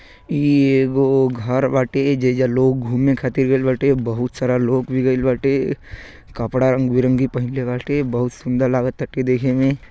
इ एगो घर बाटे। जे ऐजा लोग घूमे खातिर गइल बाटे। बहुत सारा लोग भी गइल बाटे। कपड़ा रंग बिरंगी पहिनले बाटे। बहुत सुंदर लगटाटे देखे में।